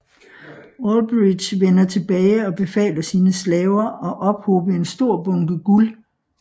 Alberich vender tilbage og befaler sine slaver at ophobe en stor bunke guld